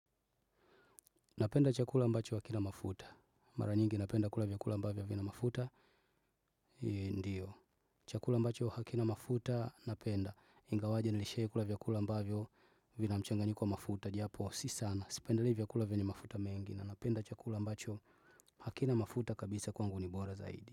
Napenda chakula mbacho hakina mafuta. Mara nyingi napenda kula vyakula mbavyo havina mafuta. Ndiyo. Chakula mbacho hakina mafuta napenda. Ingawaje nilishawahi kula vyakula mbavyo vina mchanganyiko wa mafuta. Japo si sana. Sipendelei vyakula vyenye mafuta mengi, na napenda chakula ambacho hakina mafuta kabisa kwangu ni bora zaidi.